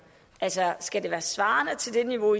altså skal det være svarende til det niveau